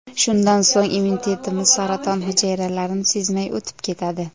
Shundan so‘ng immunitetimiz saraton hujayralarini sezmay o‘tib ketadi.